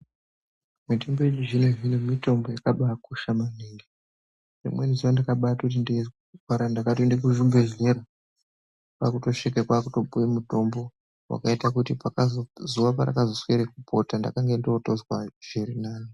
Mitombo yechizvino zvino mitombo yakabaakosha maningi nerimwe zuva ndakatoti nderwe kungwara takatoende kuchibhedhlera kwakutosvika kwakutopiwa mutombo wakaita kuti kwakazo zuva parakazosvike kupota ndakange ndotozwa zviri nane.